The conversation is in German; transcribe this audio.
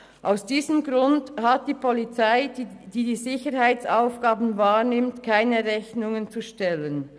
Aus diesem Grund hat die Polizei, die die Sicherheitsaufgaben wahrnimmt, keine Rechnungen zu stellen.